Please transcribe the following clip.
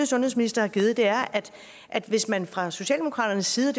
sundhedsminister har givet er at hvis man fra socialdemokratisk side